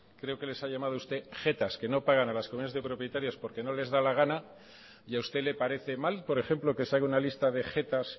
creo que les ha llamado usted jetas que no pagan a las comunidades de propietarios porque no les da la gana y a usted le parece mal por ejemplo que se haga una lista de jetas